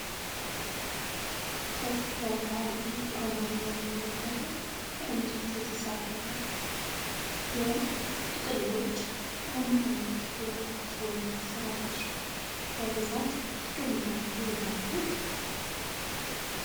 ከጣሪያው ጋር የተገናኘው መደርደሪያ ከእንጨት የተሰራ ነው። የSanita Club Maxi Roll ጥቅልሎች በምን ዓይነት ቦታዎች ወይም ሥራዎች ላይ በብዛት ጥቅም ላይ ይውላሉ?